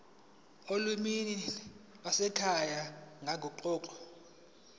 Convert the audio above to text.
olimini lwasekhaya nangokuguquka